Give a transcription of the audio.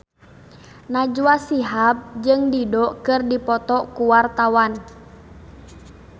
Najwa Shihab jeung Dido keur dipoto ku wartawan